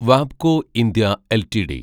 വാബ്കോ India LTD